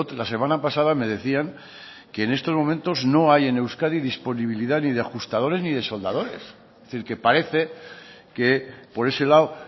la semana pasada me decían que en estos momentos no hay en euskadi disponibilidad ni de ajustadores ni de soldadores es decir que parece que por ese lado